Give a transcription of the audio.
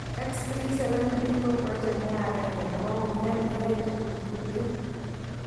X-37B ko project ne agenge nebo wunyet neyoe tukug tuten